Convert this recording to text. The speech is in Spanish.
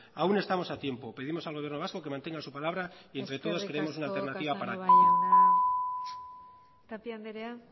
aún estamos a tiempo pedimos al gobierno vasco que mantenga su palabra y entre todos creamos una alternativa eskerrik asko casanova jauna tapia andrea